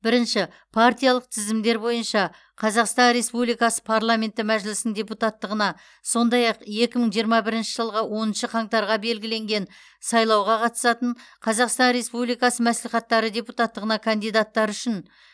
бірінші партиялық тізімдер бойынша қазақстан республикасы парламенті мәжілісінің депутаттығына сондай ақ екі мың жиырма бірінші жылғы оныншы қаңтарға белгіленген сайлауға қатысатын қазақстан республикасы мәслихаттары депутаттығына кандидаттар үшін